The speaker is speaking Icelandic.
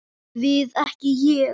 Við ekki Ég.